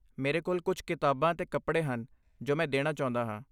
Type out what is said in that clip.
ਮੇਰੇ ਕੋਲ ਕੁਝ ਕਿਤਾਬਾਂ ਅਤੇ ਕੱਪੜੇ ਹਨ ਜੋ ਮੈਂ ਦੇਣਾ ਚਾਹੁੰਦਾ ਹਾਂ।